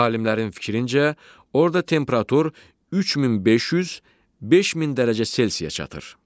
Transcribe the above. Alimlərin fikrincə, orda temperatur 3500-5000 dərəcə Selsiyə çatır.